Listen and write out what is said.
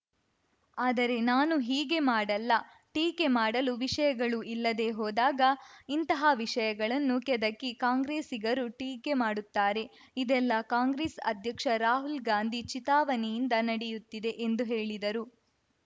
ಆದರೆ ನಾನು ಹೀಗೆ ಮಾಡಲ್ಲ ಟೀಕೆ ಮಾಡಲು ವಿಷಯಗಳು ಇಲ್ಲದೇ ಹೋದಾಗ ಇಂಥಹ ವಿಷಯಗಳನ್ನು ಕೆದಕಿ ಕಾಂಗ್ರೆಸ್ಸಿಗರು ಟೀಕೆ ಮಾಡುತ್ತಾರೆ ಇದೆಲ್ಲಾ ಕಾಂಗ್ರೆಸ್‌ ಅಧ್ಯಕ್ಷ ರಾಹುಲ್‌ ಗಾಂಧಿ ಚಿತಾವಣೆಯಿಂದ ನಡೆಯುತ್ತಿದೆ ಎಂದು ಹೇಳಿದರು